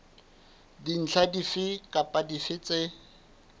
dintlha dife kapa dife tse